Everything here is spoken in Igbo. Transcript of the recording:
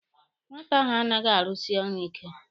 Nwata ahụ anaghị arusi ọrụ ike.